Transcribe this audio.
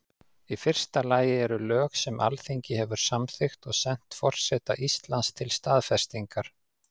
Í fyrsta lagi eru lög sem Alþingi hefur samþykkt og sent forseta Íslands til staðfestingar.